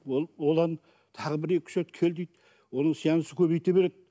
ол одан тағы бір екі үш рет кел дейді оның сеанс көбейте береді